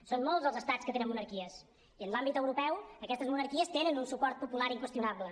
són molts els estats que tenen monarquies i en l’àmbit europeu aquestes monarquies tenen un suport popular inqüestionable